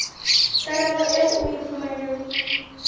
karabo eo o e fumanang